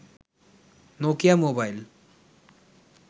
Nokia mobile